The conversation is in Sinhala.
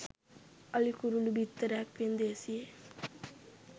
අලි කුරුලූ බිත්තරයක් වෙන්දේසියේ